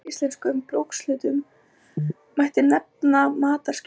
Af séríslenskum brúkshlutum mætti nefna mataraskinn.